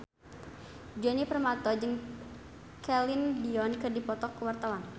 Djoni Permato jeung Celine Dion keur dipoto ku wartawan